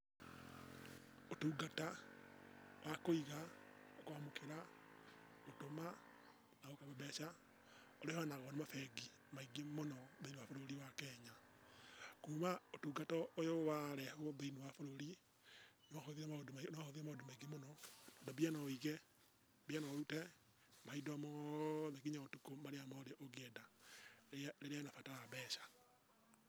Ũtungata, wa kũiga, na kwamũkĩra, gũtũma na mbeca, ũhenagwo nĩ mabengi maingĩ mũno thĩiniĩ wa bũrũri wa Kenya. Kuma ũtungata ũyũ warehwo thĩiniĩ wa bũrũri, nĩwahũthirie maũndũ nĩwahũthirie maũndũ maingĩ mũno. Na mbia no wĩige, mbia no ũrute, mahinda o moothe kinya ũtukũ mahinda mothe marĩa ũngĩenda rĩrĩa wĩna bata wa mbeca.